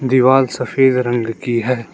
दीवाल सफेद रंग की है।